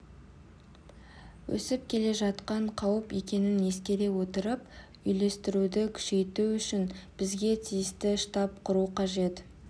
өсіп келе жатқан қауіп екенін ескере отырып үйлестіруді күшейту үшін бізге тиісті штаб құру қажет